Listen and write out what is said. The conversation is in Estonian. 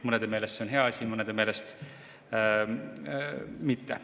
Mõnede meelest see on hea, mõnede meelest mitte.